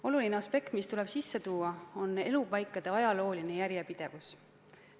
Oluline aspekt, mis tuleb sisse tuua, on elupaikade ajalooline järjepidevus.